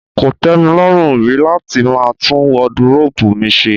Kò tẹ́ mi lọ́rùn rí láti máa tún wọdiróòbù mi ṣe.